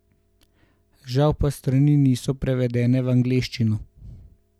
Žal pa strani niso prevedene v angleščino.